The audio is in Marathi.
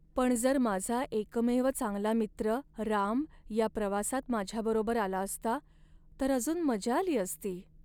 पण जर माझा एकमेव चांगला मित्र, राम या प्रवासात माझ्याबरोबर आला असता, तर अजून मजा आली असती.